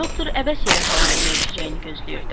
Doktor əbəs yerə havanın dəyişəcəyini gözləyirdi.